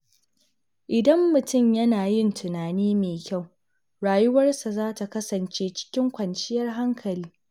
Idan mutum yana yin tunani mai kyau, rayuwarsa za ta kasance cikin kwanciyar hankali.